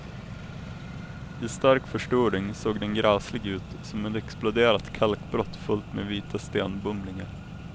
I stark förstoring såg den gräslig ut, som ett exploderat kalkbrott fullt med vita stenbumlingar.